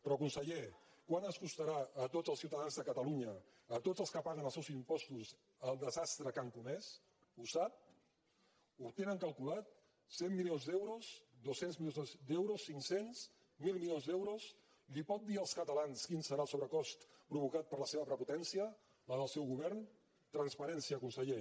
però conseller quant ens costarà a tots els ciutadans de catalunya a tots els que paguen els seus impostos el desastre que han comès ho sap ho tenen calculat cent milions d’euros dos cents milions d’euros cinc cents mil milions d’euros els pot dir als catalans quin serà el sobrecost provocat per la seva prepotència la del seu govern transparència conseller